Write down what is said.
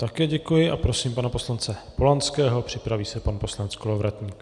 Také děkuji a prosím pana poslance Polanského, připraví se pan poslanec Kolovratník.